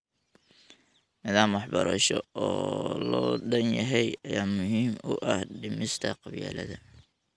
Nidaam waxbarasho oo loo dhan yahay ayaa muhiim u ah dhimista qabyaaladda.